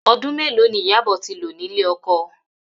Odún mélòó ni Ìyabò tí lò nílé oko